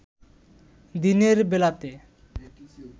দিনের বেলাতে